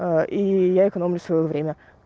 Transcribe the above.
а и я экономлю своё время